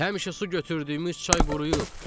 Həmişə su götürdüyümüz çay quruyub.